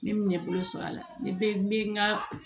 N bɛ ɲɛbolo sɔrɔ a la ne bɛ n bɛ n ga